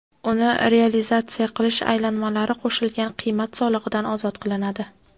uni realizatsiya qilish aylanmalari qo‘shilgan qiymat solig‘idan ozod qilinadi.